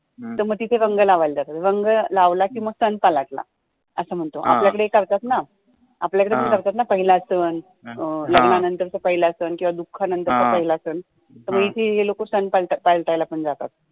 तर तिथे रंग लावायला जातात रंग लावला की संथा लागला असं म्हणतो आपल्या कडे करतात नं आपल्या कडे करतात नं पहिला सण लग्नानंतर चा पहिला सण किंवा दुखा नंतर चा पहिला सण तर मग इथे हे लोकं